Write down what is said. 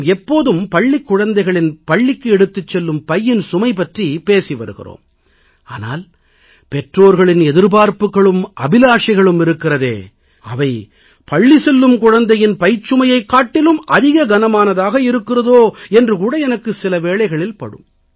நாம் எப்போதும் பள்ளிக் குழந்தைகளின் பள்ளிக்கு எடுத்துச் செல்லும் பையின் சுமை பற்றி பேசி வருகிறோம் ஆனால் பெற்றோர்களின் எதிர்பார்ப்புகளும் அபிலாஷைகளும் இருக்கிறதே அவை பள்ளி செல்லும் குழந்தையின் பைச்சுமையைக் காட்டிலும் அதிக கனமானதாக இருக்கிறதோ என்று கூட எனக்கு சில வேளைகளில் படும்